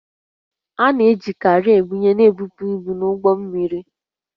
A na-eji kreenị ebunye na ebupu ibu n'ime ụgbọ mmiri